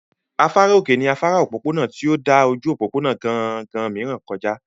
Afárá òkè ní afárá òpópónà tí ó dà ojú òpópónà gangan mìíràn kọ já